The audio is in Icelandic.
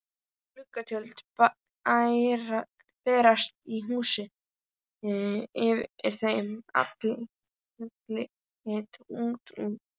Gluggatjöld bærast í húsi yfir þeim, andlit lítur út.